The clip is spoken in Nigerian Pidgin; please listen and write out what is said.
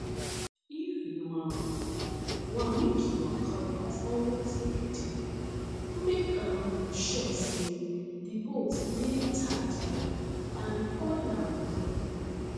if you um wan make your cutlass always ready make um sure say the bolt de tight well and oil am well